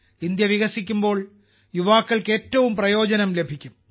India വികസിക്കുമ്പോൾ യുവാക്കൾക്ക് ഏറ്റവും പ്രയോജനം ലഭിക്കും